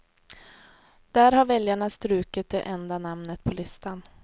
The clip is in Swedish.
Där har väljarna strukit det enda namnet på listan.